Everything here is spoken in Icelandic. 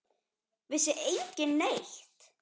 Vissi enginn neitt?